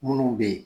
Minnu bɛ yen